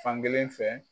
Fankelen fɛ